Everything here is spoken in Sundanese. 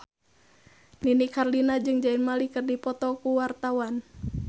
Nini Carlina jeung Zayn Malik keur dipoto ku wartawan